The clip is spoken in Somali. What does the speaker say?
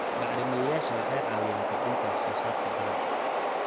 Bacrimiyeyaasha waxay caawiyaan kordhinta wax soo saarka dalagga.